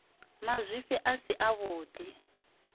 mazwifhi a si a vhudi